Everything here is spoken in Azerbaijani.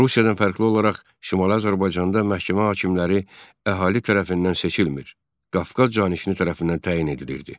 Rusiyadan fərqli olaraq Şimali Azərbaycanda məhkəmə hakimləri əhali tərəfindən seçilmir, Qafqaz canişini tərəfindən təyin edilirdi.